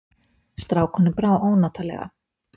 Strákunum brá ónotalega.